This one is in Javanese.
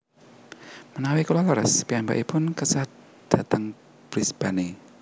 Menawi kulo leres piyambakipun kesah dateng Brisbane